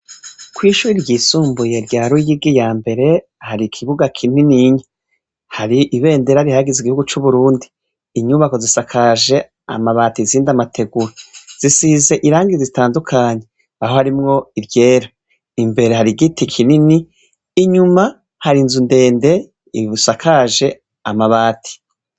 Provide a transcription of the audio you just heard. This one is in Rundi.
Ko'ishuri ryisumbuye rya rugigi ya mbere hari ikibuga kinininya hari ibendera rihagize igihugu c'uburundi inyubako zisakaje amabati izindi amateguro zisize irangi zitandukanyi aho harimwo iryera imbere hari igiti kinini inyuma hari inzu ndende ibie sakaje amabati.